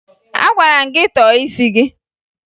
Agwara m gị tọọ isi gị!